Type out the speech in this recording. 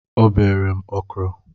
O bere m ọkrọ